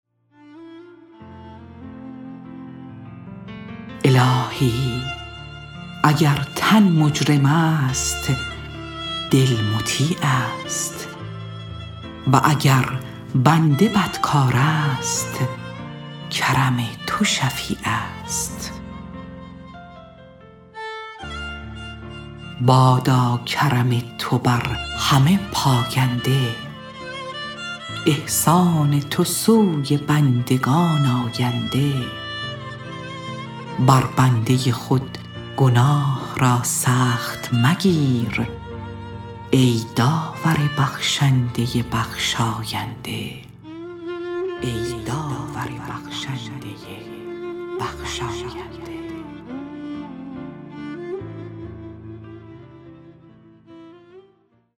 الهی اگر تن مجرم است دل مطیع است و اگر بنده بد کار است کر م تو شفیع است بادا کرم تو بر همه پاینده احسان تو سوی بندگان آینده بر بنده خود گناه را سخت مگیر ای داور بخشنده بخشاینده